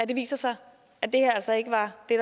det viser sig at det her altså ikke var det